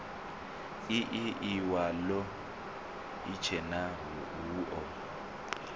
ii iwalo itshena hu o